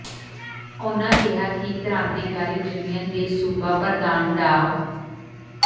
ਉਨ੍ਹਾਂ ਕਿਹਾ ਕਿ ਕ੍ਾਂਤੀਕਾਰੀ ਯੂਨੀਅਨ ਦੇ ਸੂਬਾ ਪ੍ਰਧਾਨ ਡਾ